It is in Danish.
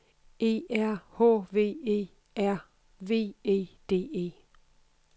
E R H V E R V E D E